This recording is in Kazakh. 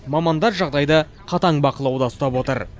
мамандар жағдайды қатаң бақылауда ұстап отыр